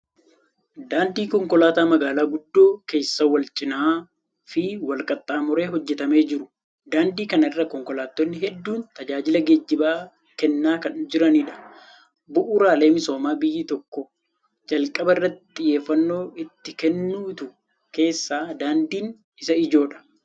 Daandii konkolaataa magaalaa guddoo keessa wal-cinaa fi wal-qaxxaamuree hojjetamee jiru. Daandii kana irra konkolaattonni hedduun tajaajila geejjibaa kennaa kan jiranidha. Bu'uuraalee misoomaa biyyi tokko jalqaba irratti xiyyeeffannoo itti kennitu keessaa daandiin isa ijoodha.